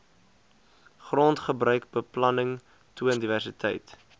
grondgebruikbeplanning toon diversiteit